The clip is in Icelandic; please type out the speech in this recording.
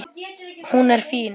Hún er fín.